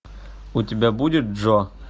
у тебя будет джо